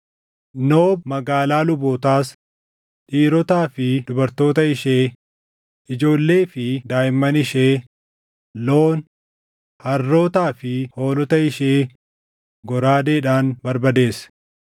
Noob magaalaa lubootaas, dhiirotaa fi dubartoota ishee, ijoollee fi daaʼimman ishee, loon, harrootaa fi hoolota ishee goraadeedhaan barbadeesse.